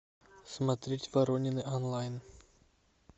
смотреть воронины онлайн